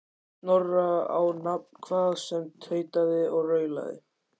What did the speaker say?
Snorra á nafn, hvað sem tautaði og raulaði.